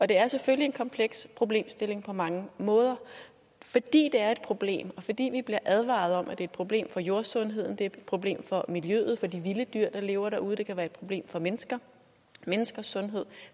det er selvfølgelig en kompleks problemstilling på mange måder fordi det er et problem og fordi vi bliver advaret om at det er et problem for jordsundheden det er et problem for miljøet og for de vilde dyr der lever derude og det kan være et problem for mennesker og menneskers sundhed